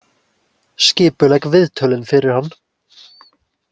Skipulegg viðtölin fyrir hann.